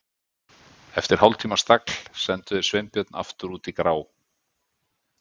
Eftir hálftíma stagl sendu þeir Sveinbjörn aftur út í grá